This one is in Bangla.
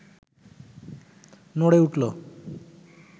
নড়ে উঠল